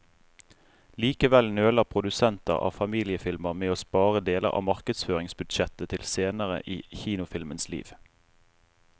Likevel nøler produsenter av familiefilmer med å spare deler av markedsføringsbudsjettet til senere i kinofilmens liv.